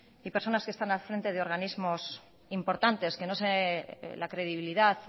y personas que están al frente de organismos importantes que no sé la credibilidad